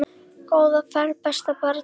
Góða ferð besta barn.